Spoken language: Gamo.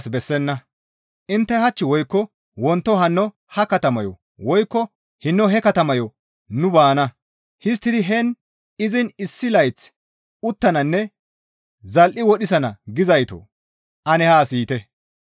«Intte hach woykko wonto hanno ha katamayo woykko hinno he katamayo nu baana; histtidi heen izin issi layth uttananne zal7i wodhisana» gizaytoo! Ane haa siyite.